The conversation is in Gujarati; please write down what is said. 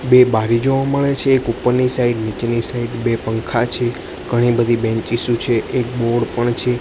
બે બારી જોવા મળે છે એક ઉપરની સાઈડ નીચેની સાઈડ બે પંખા છે ઘણી બધી બેંચીસો છે એક બોર્ડ પણ છે.